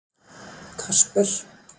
Kasper